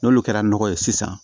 N'olu kɛra nɔgɔ ye sisan